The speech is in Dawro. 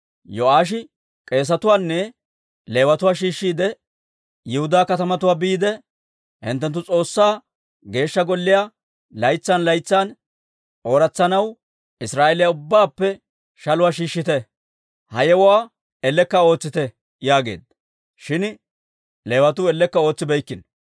Yo'aashi k'eesetuwaanne Leewatuwaa shiishshiide, «Yihudaa katamatuwaa biide, hinttenttu S'oossaa Geeshsha Golliyaa laytsan laytsan ooratsanaw Israa'eeliyaa ubbaappe shaluwaa shiishshite; ha yewuwaa ellekka ootsite» yaageedda. Shin Leewatuu ellekka ootsibeykkino.